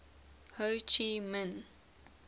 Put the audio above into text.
ho chi minh